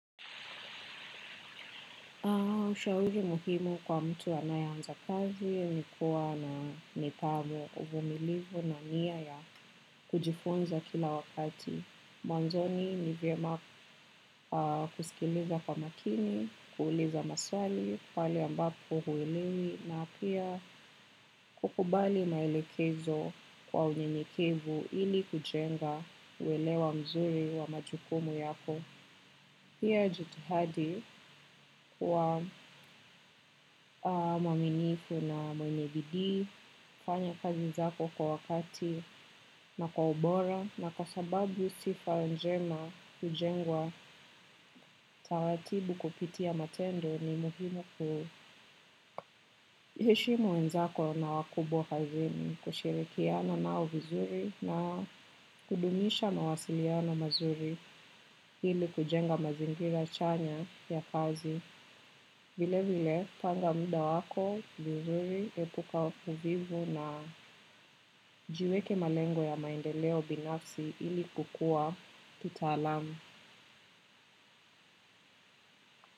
Shauri muhimu kwa mtu anayeanza kazi, ni kuwa na nidhamu, uvumilivu na nia ya kujifunza kila wakati. Mwanzoni ni vyema kusikiliza kwa makini, kuuliza maswali, pahali ambapo huelewi na pia kukubali maelekezo kwa unyenyekevu ili kujenga uelewa mzuri wa majukumu yako. Pia jitihadi kuwa mwaminifu na mwenye bidii, fanya kazi zako kwa wakati na kwa ubora na kwa sababu sifa njema hujengwa. Taratibu kupitia matendo ni muhimu kuheshimu wenzako na wakubwa kazini, kushirikiana nao vizuri na kudumisha mawasiliano mazuri. Ili kujenga mazingira chanya ya kazi. Vile vile, panga mda wako, vizuri, epuka uvivu na jiweke malengo ya maendeleo binafsi ili kukua kitaalamu.